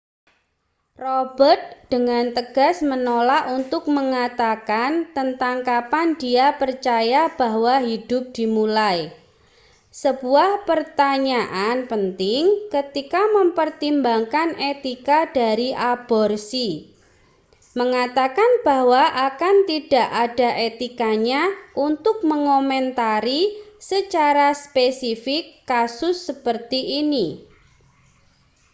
robert dengan tegas menolak untuk mengatakan tentang kapan dia percaya bahwa hidup dimulai sebuah pertanyaan penting ketika mempertimbangkan etika dari aborsi mengatakan bahwa akan tidak ada etikanya untuk mengomentari secara spesifik kasus seperti ini